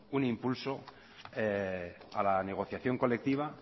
un impulso a la negociación colectiva